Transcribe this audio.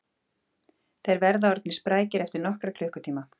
Þeir verða orðnir sprækir eftir nokkra klukkutíma